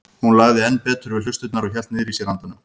Hún lagði enn betur við hlustirnar og hélt niðri í sér andanum.